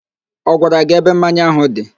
Ọ gwara gị ebe mmanya áhụ̀ dị?